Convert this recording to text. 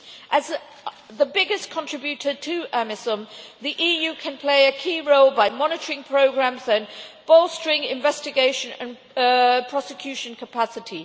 As the biggest contributor to AMISOM, the EU can play a key role by monitoring programmes and bolstering investigation and prosecution capacity.